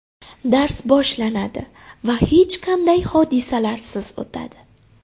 Dars boshlanadi va hech qanday hodisalarsiz o‘tadi.